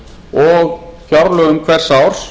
og fjárlögum hvers árs